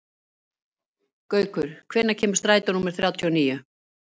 Gaukur, hvenær kemur strætó númer þrjátíu og níu?